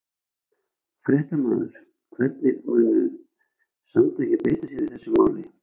Fréttamaður: Hvernig munu samtökin beita sér í þessu máli?